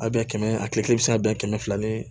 A bɛɛ kɛmɛ a kile kelen bɛ se ka bɛɛ kɛmɛ fila ni